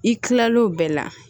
I kilalen o bɛɛ la